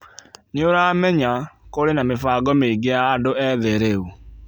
Nĩ ũramenya, kũrĩ na mĩbango mĩingĩ ya andũ ethĩ rĩu.